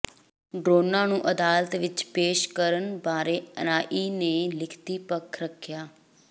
ਡਰੋਨਾਂ ਨੂੰ ਅਦਾਲਤ ਵਿੱਚ ਪੇਸ਼ ਕਰਨ ਬਾਰੇ ਐਨਆਈਏ ਨੇ ਲਿਖਤੀ ਪੱਖ ਰੱਖਿਆ